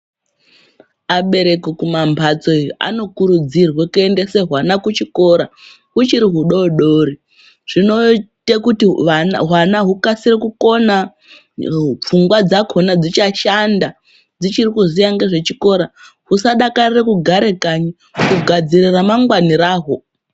Abereki kumambatso iyo anokurudzirwe kuendese hwana kuchikora huchiri hudodori zvinoite kuti hwana hukasire kukona pfungwa dzakona dzichashanda dzichiri kuziya ngezvechikora usadakarire kugare kanyi kugadzirire ramangwana rahwo.